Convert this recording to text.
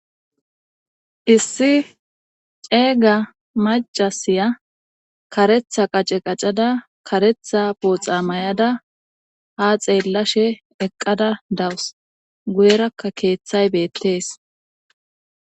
Issi ceega macasiya karetha qace qacada karetha booxa may'ada ha xeellashe eqqada dawus guyerakka keeththay beettees